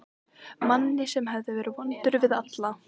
Manni sem hafði verið vondur við alla.